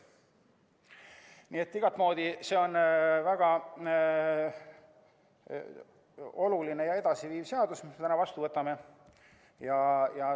See on igatemoodi väga oluline ja edasiviiv seadus, mille me täna vastu võtame.